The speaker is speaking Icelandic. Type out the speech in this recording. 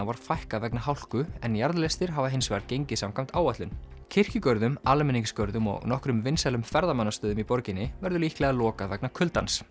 var fækkað vegna hálku en jarðlestir hafa hins vegar gengið samkvæmt áætlun kirkjugörðum almenningsgörðum og nokkrum vinsælum ferðamannastöðum í borginni verður líklega lokað vegna kuldans